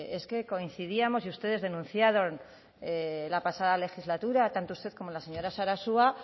es que coincidíamos y ustedes denunciaron la pasada legislatura tanto usted como la señora sarasua